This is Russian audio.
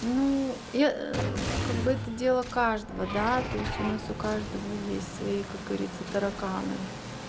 ну я как бы это дело каждого да то есть у нас у каждого есть свои как говорится тараканы